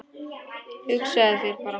Hugsaðu þér bara